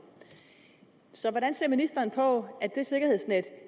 så hvordan ser ministeren på at det sikkerhedsnet